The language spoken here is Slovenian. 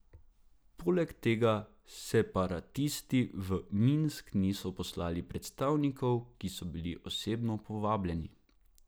Poleg tega separatisti v Minsk niso poslali predstavnikov, ki so bili osebno povabljeni.